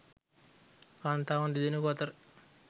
කාන්තාවන් දෙදෙනෙකු අතර